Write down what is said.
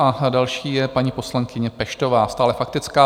A další je paní poslankyně Peštová - stále faktická.